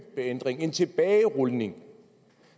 ændring en tilbagerulning